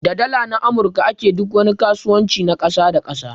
Da Dala na amurka a ke duk wani kasuwanci na kasa da kasa.